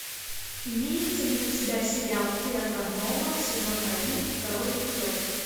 имеется ли у тебя сериал терра нова сезон один второй эпизод